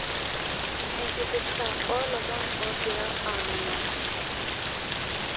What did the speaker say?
ekirpita olomon ogira amanaa